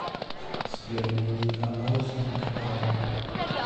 сбер найди а н а л стинк палм